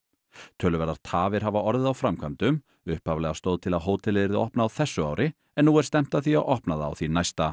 töluverðar tafir hafa orðið á framkvæmdum upphaflega stóð til að hótelið yrði opnað á þessu ári en nú er stefnt að því að opna það á því næsta